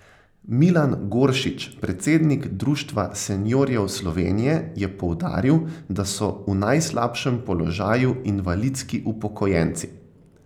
Milan Goršič, predsednik Društva seniorjev Slovenije, je poudaril, da so v najslabšem položaju invalidski upokojenci.